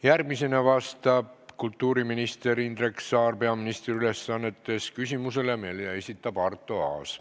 Järgmisena vastab kultuuriminister Indrek Saar peaministri ülesannetes küsimusele, mille esitab Arto Aas.